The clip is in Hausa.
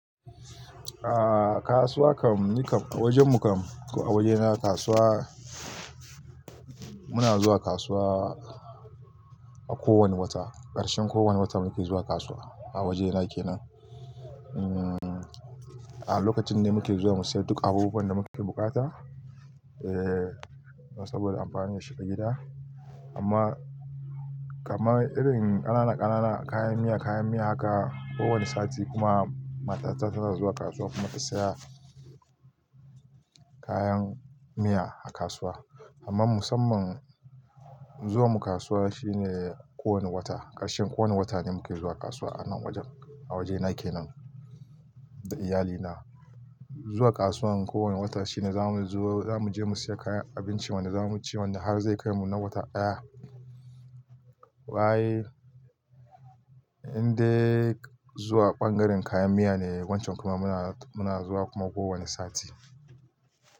A kasuwa kam, ni kam a wajen mu kam ko a wajena kasuwa muna zuwa kasuwa a kowane wata, ƙarshen kowane wata muke zuwa kasuwa a wajena kenan. Umm, a lokacin ne muke zuwa mu siya duk abubuwan da muke bukata eh saboda amfani ya shiga gida. Amma kamar irin ƙananan ƙananan kayan miya, kayan miya haka kowane sati kuma matata tana zuwa kasuwa kuma ta siya kayan miya a kasuwa. Amma musamman zuwan mu kasuwa shine kowane wata, ƙarshen kowane wata ne muke zuwa kasuwa anan wajen, a wajena kenan da iyalina. Zuwa kasuwan kowane wata shine zamu zo zamuje mu siya kayan abinci wanda zamu ci wanda har zai kai mu na wata daya. Wa'e in dai zuwa ɓangaren kayan miya ne wancan kuma muna, muna zuwa kuma kowane sati.